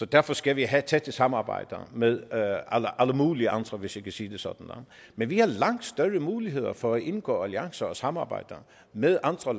derfor skal vi have tætte samarbejder med alle mulige andre hvis jeg kan sige det sådan men vi har langt større muligheder for at indgå alliancer og samarbejder med andre